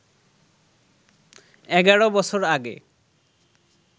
এগারো বছর আগে